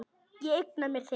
Ég eigna mér þig.